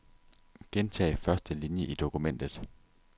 Gentag første linie i dokumentet.